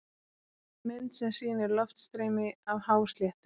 Mynd sem sýnir loftstreymi af hásléttu.